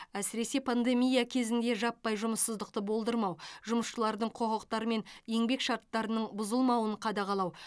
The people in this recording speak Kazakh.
әсіресе пандемия кезінде жаппай жұмыссыздықты болдырмау жұмысшылардың құқықтары мен еңбек шарттарының бұзылмауын қадағалау